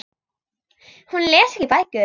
Hún les ekki bækur.